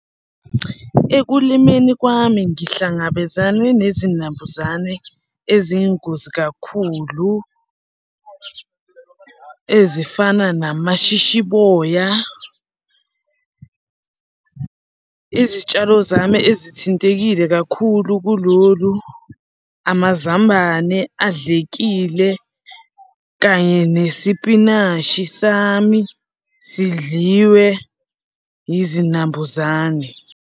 Ekulimeni kwami ngihlangabezane nezinambuzane eziyingozi kakhulu, ezifana namashishiboya. Izitshalo zami ezithintekile kakhulu kulolu, amazambane adlekile kanye nesipinashi sami sidliwe izinambuzane.